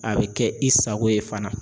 A bɛ kɛ i sago ye fana.